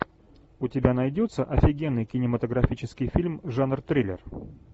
у тебя найдется офигенный кинематографический фильм жанр триллер